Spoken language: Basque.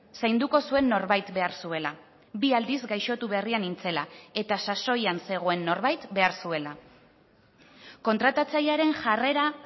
zainduko zuen norbait behar zuela bi aldiz gaixotu berria nintzela eta sasoian zegoen norbait behar zuela kontratatzailearen jarrera